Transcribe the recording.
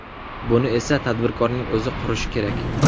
Buni esa tadbirkorning o‘zi qurishi kerak.